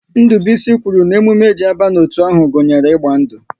Ndubuisi kwuru na emume e ji aba n'otu ahụ gunyere ịgba ndu